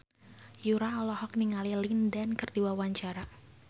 Yura olohok ningali Lin Dan keur diwawancara